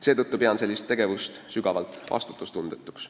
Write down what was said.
Seetõttu pean sellist tegevust sügavalt vastutustundetuks.